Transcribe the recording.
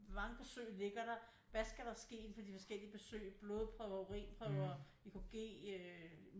Hvor mange besøg ligger der hvad skal der ske indenfor de forskellige besøg blodprøver urinprøver EKG øh